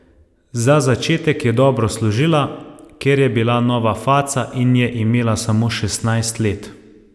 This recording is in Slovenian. Za začetek je dobro služila, ker je bila nova faca in je imela samo šestnajst let.